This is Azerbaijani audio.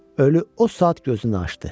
Ölü o saat gözünü açdı.